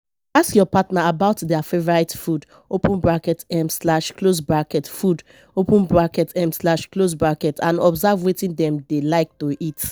ask your partner about their favourite food um food um and observe wetin dem dey like to eat